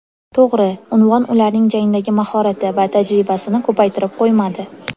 To‘g‘ri, unvon ularning jangdagi mahorati va tajribasini ko‘paytirib qo‘ymadi.